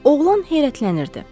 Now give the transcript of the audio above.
Oğlan heyrətlənirdi.